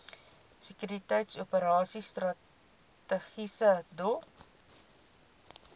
sekuriteitsoperasies strategiese doel